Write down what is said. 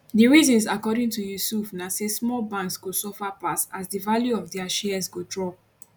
di reasons according to yusuf na say small banks go suffer pass as di value of dia shares go drop